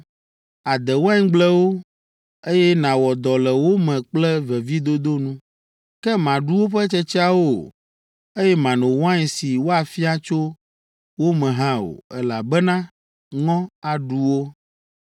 Àde waingblewo, eye nàwɔ dɔ le wo me kple vevidodo nu, ke màɖu woƒe tsetseawo o, eye màno wain si woafia tso wo me hã o, elabena ŋɔ aɖu wo.